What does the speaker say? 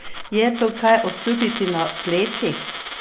Je to kaj občutiti na plečih?